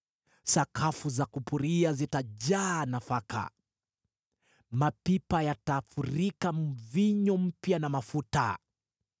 Sakafu za kupuria zitajaa nafaka, mapipa yatafurika mvinyo mpya na mafuta.